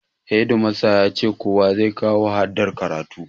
Hedimasta yace kowa zai kawo hadar karatu